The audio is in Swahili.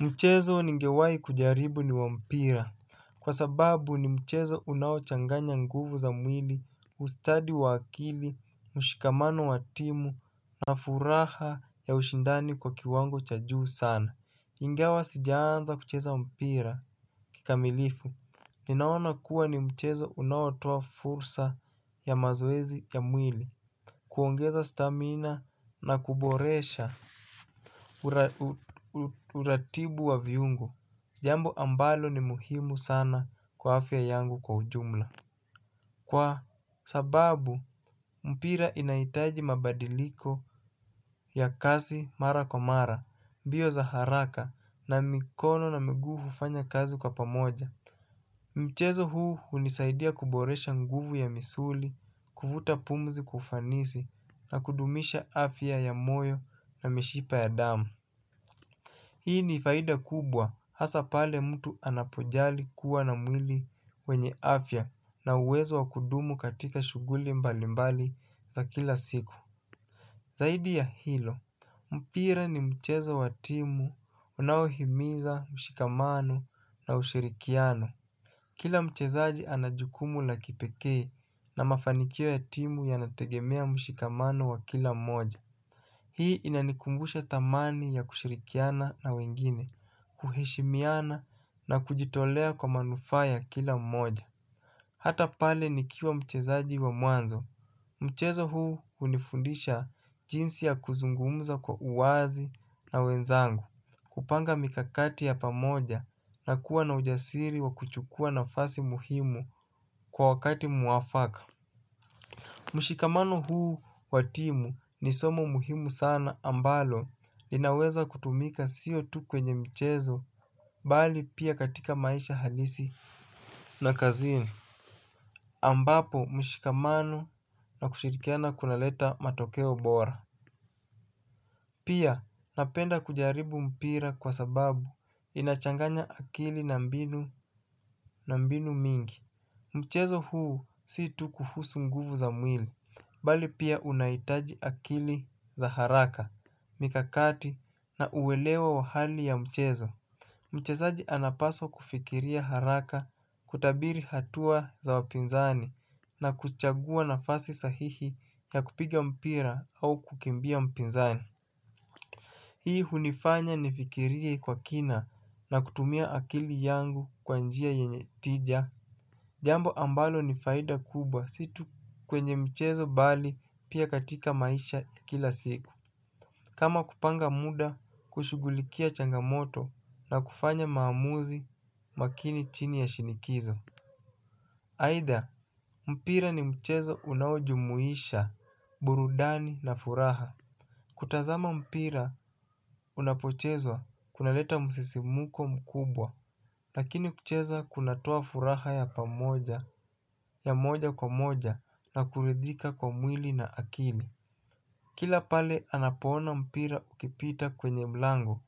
Mchezo ningewai kujaribu ni wa mpira. Kwa sababu ni mchezo unaochanganya nguvu za mwili. Ustadi wa akili, mshikamano wa timu na furaha ya ushindani kwa kiwango cha juu sana ingawa sijaanza kucheza mpira kikamilifu. Ninaona kuwa ni mchezo unaotoa fursa ya mazoezi ya mwili. Kuongeza stamina na kuboresha uratibu wa viungo, jambo ambalo ni muhimu sana kwa afya yangu kwa ujumla. Kwa sababu, mpira inahitaji mabadiliko ya kazi mara kwa mara, mbio za haraka na mikono na mguu hufanya kazi kwa pamoja. Mchezo huu hunisaidia kuboresha nguvu ya misuli, kuvuta pumzi kwa ufanisi na kudumisha afya ya moyo na mishipa ya damu. Hii ni faida kubwa hasa pale mtu anapojali kuwa na mwili wenye afya na uwezo wa kudumu katika shughuli mbali mbali za kila siku. Zaidi ya hilo, mpira ni mchezo wa timu unaohimiza mshikamano na ushirikiano. Kila mchezaji anajukumu la kipekee na mafanikio ya timu yanategemea mshikamano wa kila moja hii inanikumbusha thamani ya kushirikiana na wengine kuheshimiana na kujitolea kwa manufaa ya kila mmoja. Hata pale nikiwa mchezaji wa mwanzo, mchezo huu unifundisha jinsi ya kuzungumza kwa uwazi na wenzangu. Kupanga mikakati ya pamoja na kuwa na ujasiri wa kuchukua nafasi muhimu kwa wakati mwafaka. Mshikamano huu wa timu nisomo muhimu sana ambalo linaweza kutumika sio tu kwenye mchezo bali pia katika maisha halisi na kazini ambapo mshikamano na kushirikiana kunaleta matokeo bora. Pia napenda kujaribu mpira kwa sababu inachanganya akili na mbinu mingi. Mchezo huu si tu kuhusu nguvu za mwili, bali pia unahitaji akili za haraka, mikakati na uwelewa wa hali ya mchezo. Mchezaji anapaswa kufikiria haraka kutabiri hatua za wapinzani na kuchagua nafasi sahihi ya kupiga mpira au kukimbia mpinzani. Hii hunifanya nifikirie kwa kina na kutumia akili yangu kwa njia yenye tija. Jambo ambalo ni faida kubwa si tu kwenye mchezo bali pia katika maisha ya kila siku. Kama kupanga muda kushughulikia changamoto na kufanya maamuzi makini chini ya shinikizo. Aidha, mpira ni mchezo unaojumuisha, burudani na furaha. Kutazama mpira unapochezwa unaleta msisimuko mkubwa. Lakini kucheza kunatoa furaha ya pamoja ya moja kwa moja na kuridhika kwa mwili na akili kila pale anapoona mpira ikipita kwenye mlango